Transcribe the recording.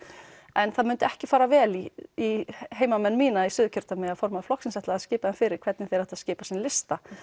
en það myndi ekki fara vel í í heimamenn mína í Suðurkjördæmi ef formaður flokksins ætlaði að skipa þeim fyrir hvernig þeir ættu að skipa sinn lista